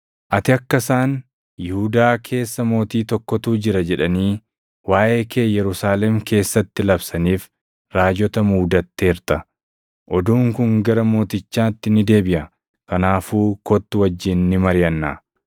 ati akka isaan, ‘Yihuudaa keessa mootii tokkotu jira!’ jedhanii waaʼee kee Yerusaalem keessatti labsaniif raajota muudatteerta. Oduun kun gara mootichaatti ni deebiʼa; kanaafuu kottu wajjin ni mariʼannaa.”